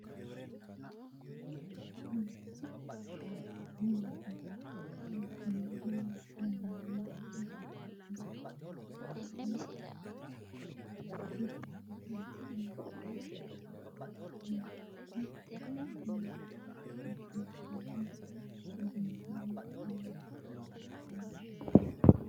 tenne misile aana noorina tini misile xawissannori maati yinummoro qarra heddo odootte aleenni borrotte aanna rosu iillanna minnamma hasiissinosi garinni loosamma nootta